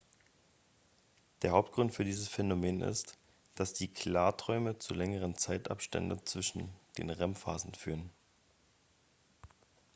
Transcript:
der hauptgrund für dieses phänomen ist dass die klarträume zu längeren zeitabstände zwischen den rem-phasen führen